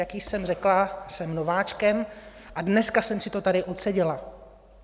Jak již jsem řekla, jsem nováčkem a dneska jsem si to tady odseděla.